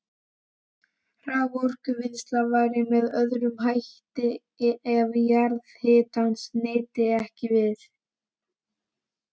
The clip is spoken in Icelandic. Raforkuvinnsla væri með öðrum hætti ef jarðhitans nyti ekki við.